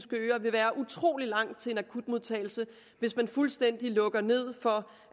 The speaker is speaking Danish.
øer vil være utrolig langt til en akutmodtagelse hvis man fuldstændig lukker ned for